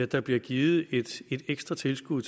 der bliver givet et ekstra tilskud